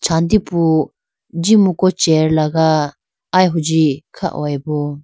sandi phu jimuku chair laga aya huji kha hoyi bo.